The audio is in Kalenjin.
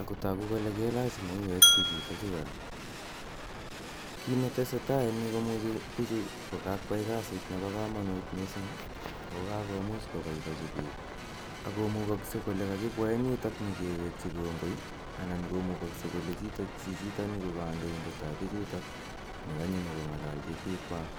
ako tagu kole kelach mauek pichutachu kora. Kit ne tese tai en yu ko imuchi pichu ko kakoyai kasit nepo kamanut missing' ako kakomuch kopipochi. Ako mugakse kole kakipwa yutok nyi kiwekchi kongoi anan ko mugakse chichitani ko kandoindet ap pik ne kanyo nyu ko ng'alalchi pikwak.